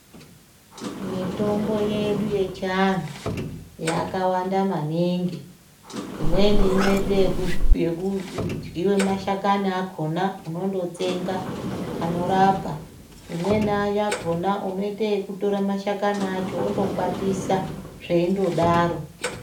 Mitombo yedu yechiantu yakawanda maningi. Imweni ineite yekudyiwa mashakani akhona, unondotsenga, anorapa. Imweni yakhona unoiteyokutora mashakani acho wondokwatisa weindodaro.